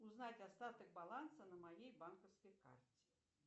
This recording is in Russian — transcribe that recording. узнать остаток баланса на моей банковской карте